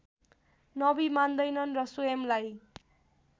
नबी मान्दैनन् र स्वयंलाई